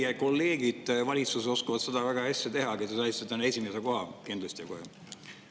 Te kolleegid valitsuses oskavad ka seda väga hästi teha, aga teie saite täna esimese koha, kindlasti kohe.